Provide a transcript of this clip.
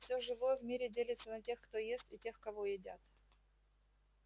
все живое в мире делится на тех кто ест и тех кого едят